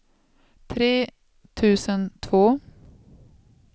tre tusen två